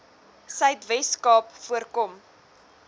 suidwes kaap voorkom